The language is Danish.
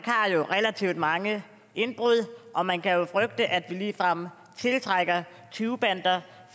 har jo relativt mange indbrud og man kan jo frygte at vi ligefrem tiltrækker tyvebander